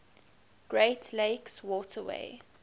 great lakes waterway